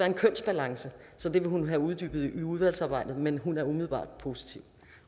en kønsbalance så det vil hun have uddybet i udvalgsarbejdet men hun er umiddelbart positiv